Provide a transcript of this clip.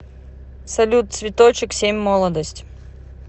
салют цветочек семь молодость